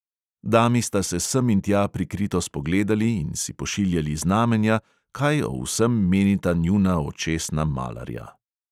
Dami sta se sem in tja prikrito spogledali in si pošiljali znamenja, kaj o vsem menita njuna očesna malarja.